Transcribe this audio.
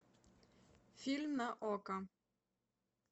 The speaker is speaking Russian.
фильм на окко